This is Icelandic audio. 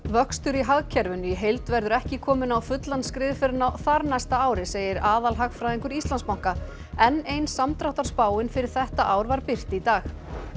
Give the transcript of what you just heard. vöxtur í hagkerfinu í heild verður ekki kominn á fullan skrið fyrr en á þarnæsta ári segir aðalhagfræðingur Íslandsbanka enn ein samdráttarspáin fyrir þetta ár var birt í dag